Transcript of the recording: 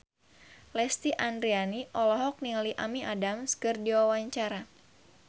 Lesti Andryani olohok ningali Amy Adams keur diwawancara